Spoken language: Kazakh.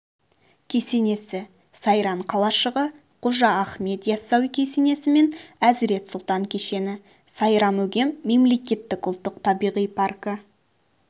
кесесені сауран қалашығы қожа ахмет яссауи кесенесі мен әзірет сұлтан кешені сайрам-өгем мемлекеттік ұлттық-табиғи паркі